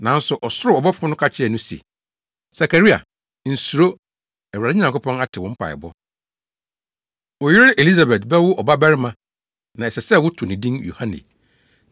Nanso ɔsoro ɔbɔfo no ka kyerɛɛ no se, “Sakaria, nsuro, Awurade Nyankopɔn ate wo mpaebɔ. Wo yere Elisabet bɛwo ɔbabarima na ɛsɛ sɛ woto ne din Yohane.